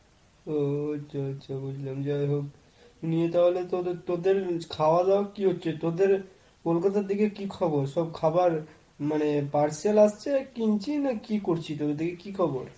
ও আচ্ছা আচ্ছা বুঝলাম যাই হোক, নিয়ে তাহলে তোদের খাওয়া দাওয়া কি হচ্ছে তোদের কলকাতার দিকে কি খবর? সব খাবার মানে parcel আসছে কিনছিস নাকি কি করছিস? ও দিকের কি খবর?